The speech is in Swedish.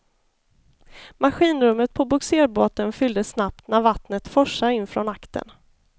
Maskinrummet på bogserbåten fylldes snabbt när vattnet forsade in från aktern.